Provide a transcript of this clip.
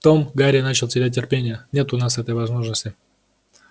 том гарри начал терять терпение нет у нас этой возможности